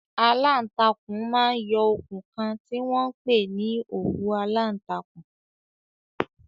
Aláàtakùn máa ń yọ okùn kan tí wọ́n ń pè ní òwú aláǹtakùn.